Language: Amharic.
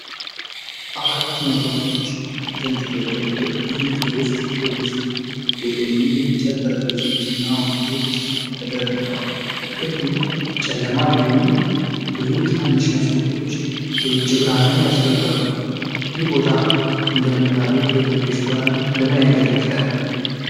አራት መብራቶች በተንጠለጠሉበት ግዙፍ የውስጥ ክፍል ውስጥ የቆዩ የእንጨት ጠረጴዛዎችና ወንበሮች ተደርድረዋል። ክፍሉ ጨለማ ቢሆንም፣ ብዙ ትናንሽ መስኮቶች የውጭ ብርሃንን ያስገባሉ። ይህ ቦታ እንደ ቡና ቤት ወይም ሬስቶራንት ለምን ያገለግላል?